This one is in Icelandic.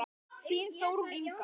Þín Þórunn Inga.